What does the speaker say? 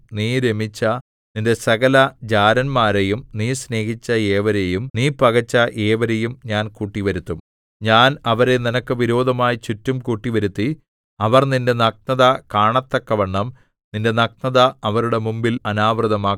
നീ രമിച്ച നിന്റെ സകലജാരന്മാരെയും നീ സ്നേഹിച്ച ഏവരെയും നീ പകച്ച ഏവരെയും ഞാൻ കൂട്ടിവരുത്തും ഞാൻ അവരെ നിനക്ക് വിരോധമായി ചുറ്റും കൂട്ടിവരുത്തി അവർ നിന്റെ നഗ്നത കാണത്തക്കവണ്ണം നിന്റെ നഗ്നത അവരുടെ മുമ്പിൽ അനാവൃതമാക്കും